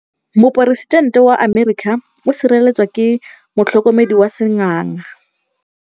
Poresitêntê wa Amerika o sireletswa ke motlhokomedi wa sengaga.